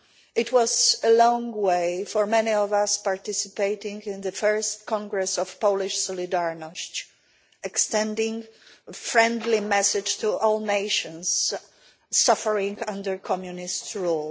It was a long way for many of us participating in the first Congress of Polish Solidarność, extending a friendly message to all nations suffering under Communist rule.